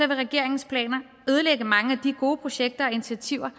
vil regeringens planer ødelægge mange af de gode projekter og initiativer